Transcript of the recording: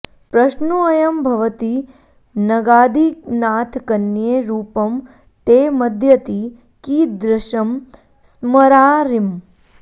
प्रश्नोऽयं भवति नगाधिनाथकन्ये रूपं ते मदयति कीदृशं स्मरारिम्